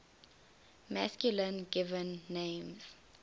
masculine given names